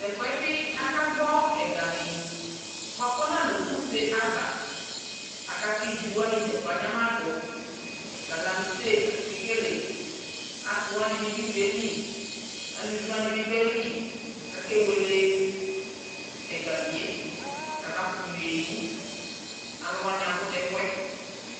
Tu ɛfu yɛ bi akagbɔ ɛgami buaku ɔnalɛ useava aka ku iviwani dzagblo anyama du galamse la akekele asiwani bi du ivi yɛ li aluviwani bi du ayili ku akewele ɛgami yɛ ku ama kutu ye yi Aluwani abu nu ɛfu yɛ